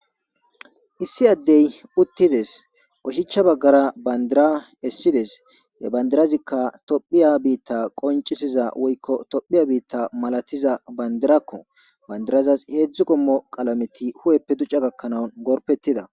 issi addey uttides oshicha baggara bandira essides yebandirazikka tophiya biitta qoncisiza woykko tophiya biitta malatiza bandirakko bandirazas heedzdzu kommo qalameti hu7eppe duca gakkanaun gorpettida